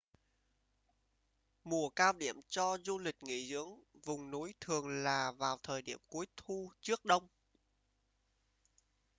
mùa cao điểm cho du lịch nghỉ dưỡng vùng núi thường là vào thời điểm cuối thu trước đông